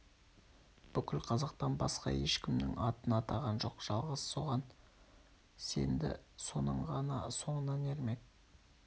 бүкіл қазақтан басқа ешкімнің атын атаған жоқ жалғыз соған сенді соның ғана соңынан ермек